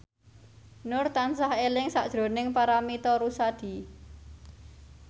Nur tansah eling sakjroning Paramitha Rusady